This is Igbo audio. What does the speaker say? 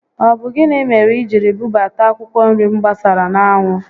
Ọ bụ gịnị mere i jiri bubata akwụkwọ nri m gbasara n'anwụ?